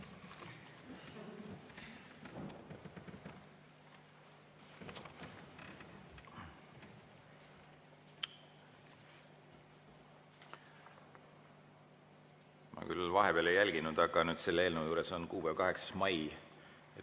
Ma küll vahepeal ei jälginud, aga selle eelnõu juures on kuupäev 8. mai.